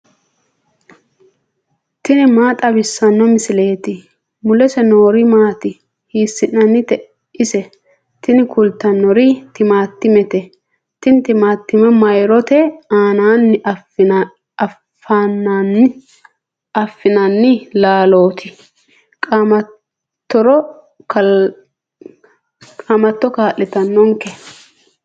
tini maa xawissanno misileeti ? mulese noori maati ? hiissinannite ise ? tini kultannori timaatimete. tini timaatime myrote aaninni afi'nanni laalooti qaamattore kaa'litannonke.